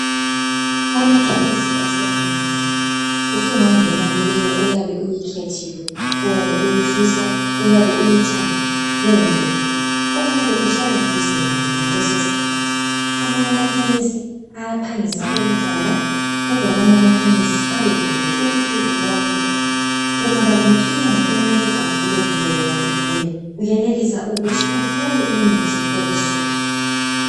Amakhemesi asemanengi, usungangena kuleyo oyabe uyikhethile, oyabe uyifisa, oyabe uyithanda kumbe oyabe uhlala eduze layo ngalesosikhathi. Amanye amakhemesi ayaphangisa ukuvala, kodwa amanye amakhemesi ayabe evuliwe ubusuku bonke. Ungaba lenkinga umuntu agule kumbe wena ugule, uyenelisa ukuthi uthole imithi ebusuku.